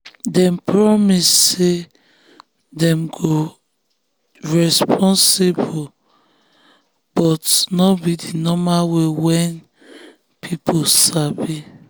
dem promise say dem go responsible but no be the normal way wey people sabi.